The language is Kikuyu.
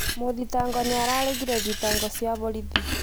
Mũthitagwo nī araregire thitango cia borith